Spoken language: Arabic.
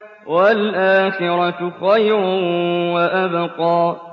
وَالْآخِرَةُ خَيْرٌ وَأَبْقَىٰ